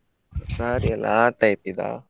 Saree ಅಲ್ಲಾ ಆ type ಇದ್ದಾ?